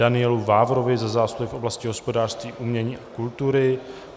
Danielu Vávrovi za zásluhy v oblasti hospodářství, umění a kultury